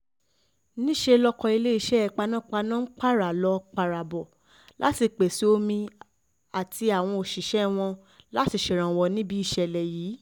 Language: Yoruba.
níṣẹ́ lọkọ iléeṣẹ́ panápaná ń pààrà lọ pààrà bọ̀ láti pèsè omi àtàwọn òṣìṣẹ́ wọn láti ṣèrànwọ́ níbi ìṣẹ̀lẹ̀ yìí